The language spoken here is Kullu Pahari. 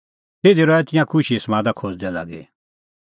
तिधी रहै तिंयां खुशीए समादा खोज़दै लागी